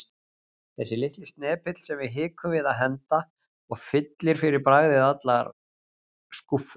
Þessi litli snepill sem við hikum við að henda og fyllir fyrir bragðið allar skúffur.